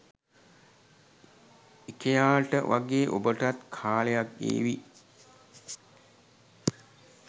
ඉකෙයාට වගේ ඔබටත් කාලයක් ඒවි